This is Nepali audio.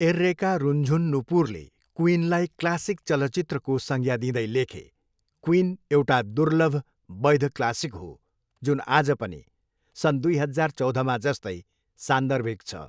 एर्रेका रुन्झुन नुपुरले क्विनलाई क्लासिक चलचित्रको संज्ञा दिँदै लेखे, क्विन एउटा दुर्लभ वैध क्लासिक हो, जुन आज पनि सन् दुई हजार चौधमा जस्तै सान्दर्भिक छ।